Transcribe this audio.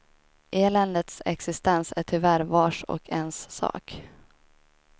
Eländets existens är tyvärr vars och ens sak.